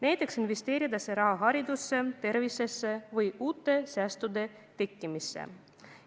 Näiteks võiks selle raha investeerida haridusse, tervisesse või uute säästude tekkimisse.